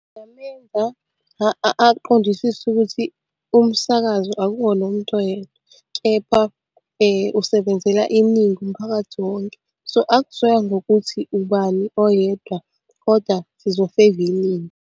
Ngingamenza aqondisise ukuthi umsakazo akuwona owomuntu oyedwa, kepha usebenzela iningi umphakathi wonke. So, akuzoya ngokuthi ubani oyedwa koda sizo-favour iningi.